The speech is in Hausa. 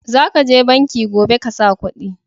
Za ka je banki gobe ka sa kudi